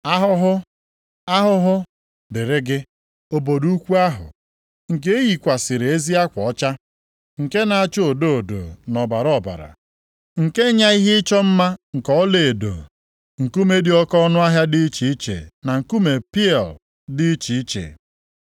“ ‘Ahụhụ, Ahụhụ dịrị gị, obodo ukwu ahụ, nke e yikwasịrị ezi akwa ọcha, nke na-acha odo odo na ọbara ọbara nke nya ihe ịchọ mma nke ọlaedo, nkume dị oke ọnụahịa dị iche iche na nkume pieal dị iche iche.